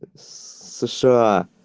сша